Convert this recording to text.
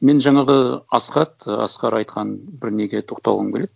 мен жаңағы асхат і асқар айтқан бір неге тоқталғым келеді